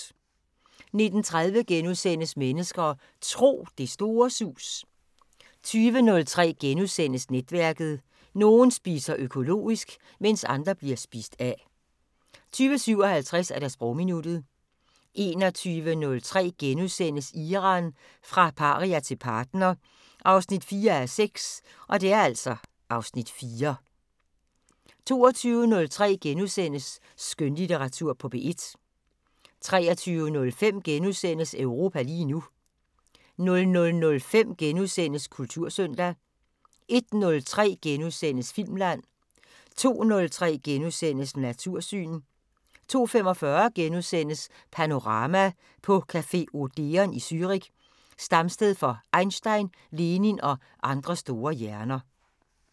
19:30: Mennesker og Tro: Det store sus * 20:03: Netværket: Nogen spiser økologisk, mens andre bliver spist af * 20:57: Sprogminuttet 21:03: Iran – fra paria til partner 4:6 (Afs. 4)* 22:03: Skønlitteratur på P1 * 23:05: Europa lige nu * 00:05: Kultursøndag * 01:03: Filmland * 02:03: Natursyn * 02:45: Panorama: På café Odeon i Zürich, stamsted for Einstein, Lenin og andre store hjerner *